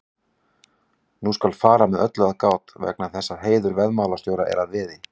Nú skal fara að öllu með gát vegna þess að heiður veiðimálastjóra er að veði.